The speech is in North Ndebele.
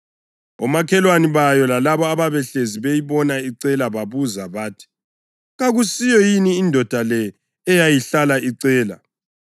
Omakhelwane bayo lalabo abahlezi beyibona icela babuza bathi, “Kakusiyo yini indoda le eyayihlala icela?”